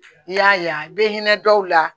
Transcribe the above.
I y'a ye i bɛ hinɛ dɔw la